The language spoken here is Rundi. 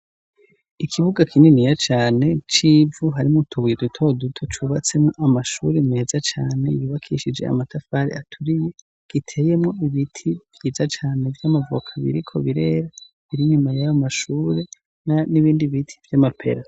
Ikibuga kininiya cane c'ivu harimwo utubuye dutoduto, cubatsemwo amashure meza cane yubakishije amatafari aturiye, giteyemwo ibiti vyiza cane vy'amavoka biriko birera, biri inyuma y'ayo mashure n'ibindi biti vy'amapera.